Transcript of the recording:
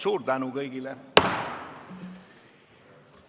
Suur tänu kõigile!